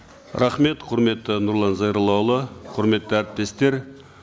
рахмет құрметті нұрлан зайроллаұлы құрметті әріптестер